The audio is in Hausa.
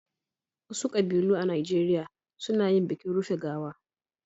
Wasu ƙabilu a Najeriya suna yin bikin rufe gawa.